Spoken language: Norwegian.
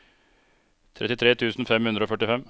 trettifire tusen fem hundre og førtifem